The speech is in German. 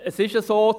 Es ist so: